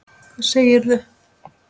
Hvað segirðu?